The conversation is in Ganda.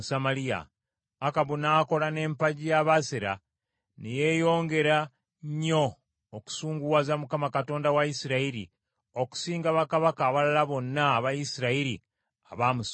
Akabu n’akola n’empagi ya Baaseri, ne yeeyongera nnyo okusunguwaza Mukama Katonda wa Isirayiri, okusinga bakabaka abalala bonna aba Isirayiri abaamusooka.